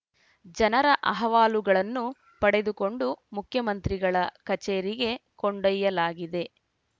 ಜನರ ಅಹವಾಲುಗಳನ್ನು ಪಡೆದುಕೊಂಡು ಮುಖ್ಯಮಂತ್ರಿಗಳ ಕಚೇರಿಗೆ ಕೊಂಡೊಯ್ಯಲಾಗಿದೆ